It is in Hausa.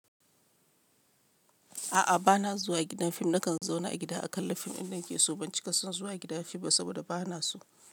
A'a bana zuwa gidan fim, nakan zauna a gida a kalla fim in da nake so. Ban cika son zuwa gidan fim ba, saboda bana so.